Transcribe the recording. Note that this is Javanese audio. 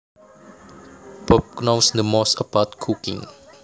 Bob knows the most about cooking